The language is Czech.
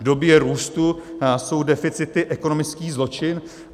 V době růstu jsou deficity ekonomický zločin.